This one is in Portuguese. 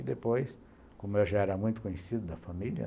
E depois, como eu já era muito conhecido da família,